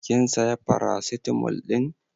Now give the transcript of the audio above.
Kin saya paracetamol din?